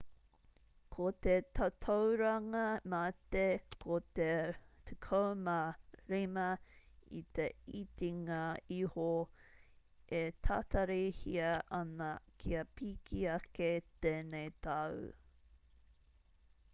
ko te tatauranga mate ko te 15 i te itinga iho e tatarihia ana kia piki ake tēnei tau